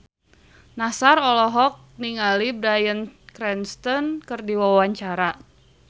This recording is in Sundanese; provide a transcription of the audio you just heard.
Nassar olohok ningali Bryan Cranston keur diwawancara